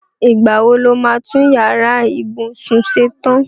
Ìgbá wo lo máa tún yàrá ìbùsún ṣe tan?